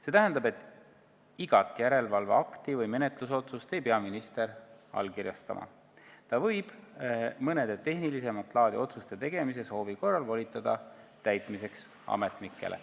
See tähendab, et igat järelevalveakti või menetlusotsust ei pea minister allkirjastama, ta võib mõne tehnilisemat laadi otsuse tegemise soovi korral volitada ametnikele.